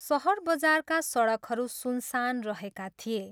सहर बजारका सडकहरू सुनसान रहेका थिए।